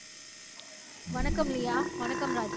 வணக்கம் லியா வணக்கம் ராஜி